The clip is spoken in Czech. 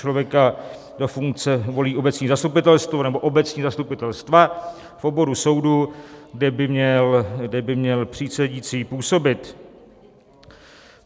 Člověka do funkce volí obecní zastupitelstvo nebo obecní zastupitelstva v oboru soudu, kde by měl přísedící působit.